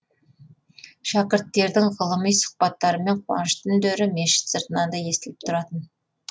шәкірттердің ғылыми сұхбаттары мен қуанышты үндері мешіт сыртынан да естіліп тұратын